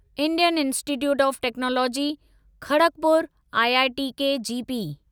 Indian institute of technology Kharagpur IITKGP